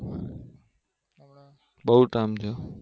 બઉ ટાઇમ થયો